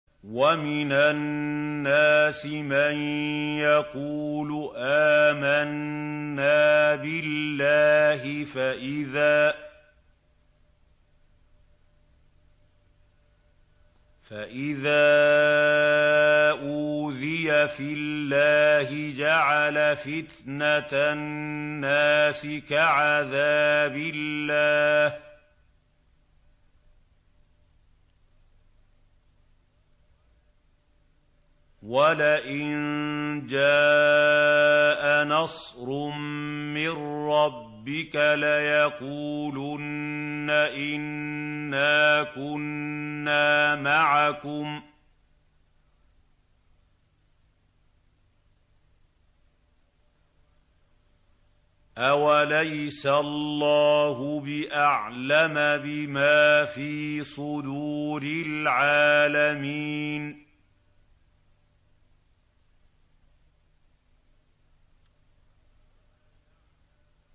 وَمِنَ النَّاسِ مَن يَقُولُ آمَنَّا بِاللَّهِ فَإِذَا أُوذِيَ فِي اللَّهِ جَعَلَ فِتْنَةَ النَّاسِ كَعَذَابِ اللَّهِ وَلَئِن جَاءَ نَصْرٌ مِّن رَّبِّكَ لَيَقُولُنَّ إِنَّا كُنَّا مَعَكُمْ ۚ أَوَلَيْسَ اللَّهُ بِأَعْلَمَ بِمَا فِي صُدُورِ الْعَالَمِينَ